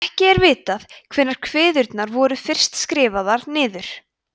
ekki er vitað hvenær kviðurnar voru fyrst skrifaðar niður